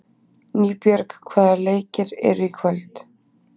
Nýbjörg, hvaða leikir eru í kvöld?